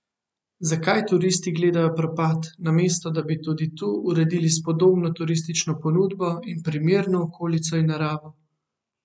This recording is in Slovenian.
Zakaj turisti gledajo propad, namesto da bi tudi tu uredili spodobno turistično ponudbo in primerno okolico in naravo?